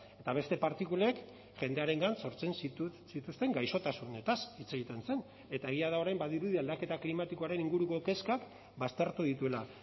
eta beste partikulek jendearengan sortzen zituzten gaixotasunetaz hitz egiten zen eta egia da orain badirudi aldaketa klimatikoaren inguruko kezkak baztertu dituela